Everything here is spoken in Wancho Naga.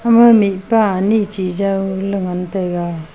ema mihpa ane che jon ley ngan taiga.